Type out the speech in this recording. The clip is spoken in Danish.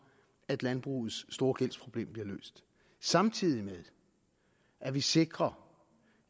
at landbrugets store gældsproblem bliver løst samtidig med at vi sikrer